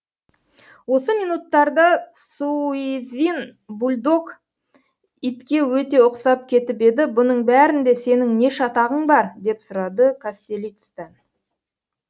осы минуттарда суизин бульдог итке өте ұқсап кетіп еді бұның бәрінде сенің не шатағың бар деп сұрады кастелицтен